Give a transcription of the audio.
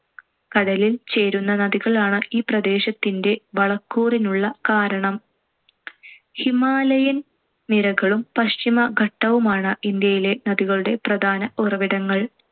കടലിൽ ചേരുന്ന നദികളാണ് ഈ പ്രദേശത്തിന്‍റെ വളക്കൂറിനുള്ള കാരണം. ഹിമാലയൻ നിരകളും പശ്ചിമഘട്ടവുമാണ്‌ ഇന്ത്യയിലെ നദികളൂടെ പ്രധാന ഉറവിടങ്ങൾ.